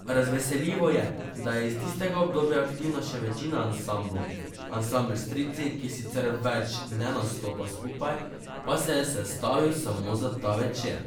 Razveseljivo je, da je iz tistega obdobja aktivna še večina ansamblov, ansambel Strici, ki sicer več ne nastopa skupaj, pa se je sestavil samo za ta večer.